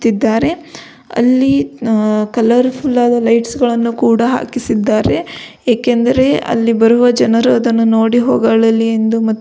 ತ್ತಿದ್ದಾರೆ ಅಲ್ಲಿ ಕಲರ್ಫುಲ್ ಆದ ಲೈಟ್ಸ್ ಗಳನ್ನು ಕೂಡ ಹಾಕಿಸಿದ್ದಾರೆ. ಏಕೆಂದರೆ ಅಲ್ಲಿ ಬರುವ ಜನರು ಅದನ್ನು ನೋಡಿ ಹೊಗಳಲಿ ಎಂದು ಮತ್ತು--